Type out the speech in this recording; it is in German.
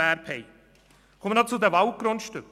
Ich komme noch zu den Waldgrundstücken: